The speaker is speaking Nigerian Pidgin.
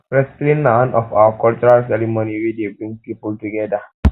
wristling na one of our cultural ceremony wey dey bring people together